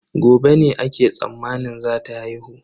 Gobe ne ake tsammanin zata haihu.